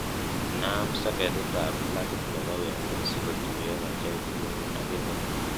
inaam soketit ab plagit nepo wemo si kotuyo kajait nyun ak inee